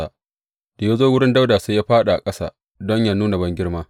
Da ya zo wurin Dawuda sai ya fāɗi a ƙasa don yă nuna bangirma.